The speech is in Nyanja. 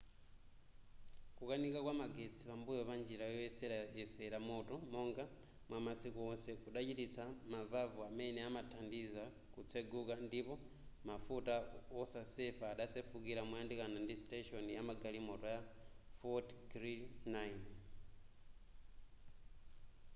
kukanika kwa magetsi pambuyo pa njira yoyeserera moto monga mwamasiku wonse kudachititsa mavavu amene amathandiza kutseguka ndipo mafuta osasefa adasefukira moyandikana ndi station yamagalimoto ya fort greely 9